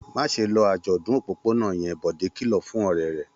Má ṣe lọ àjọ̀dún òpópónà yẹn! Bọ̀dé kìlọ̀ fún ọ̀rẹ́ rẹ̀.